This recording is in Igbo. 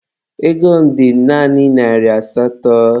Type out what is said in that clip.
Ego m dị naanị narị asatọ.